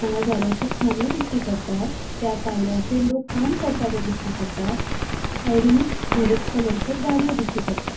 हांगा झाडाचे खानयो दिश्टी पट्टा त्या पायऱ्याचेर लोक काम करता ते दिश्टी पट्टा सायडीनुच धोव्यो कलरचों गाड़ियों दिश्टी पट्टा.